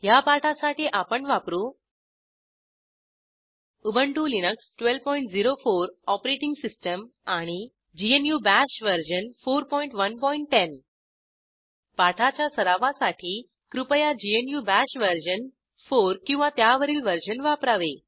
ह्या पाठासाठी आपण वापरू उबंटु लिनक्स 1204 ओएस आणि ग्नू बाश वर्जन 4110 पाठाच्या सरावासाठी कृपया ग्नू बाश वर्जन 4 किंवा त्यावरील वर्जन वापरावे